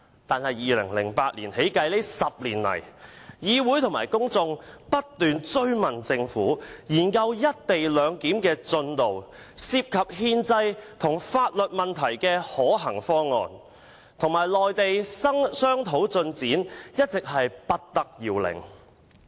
但是，由2008年起至今這10年來，議會和公眾不斷追問政府研究"一地兩檢"的進度、有關憲制和法律問題的可行方案，以及與內地商討的進展，一直不得要領。